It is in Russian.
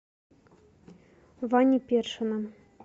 вани першина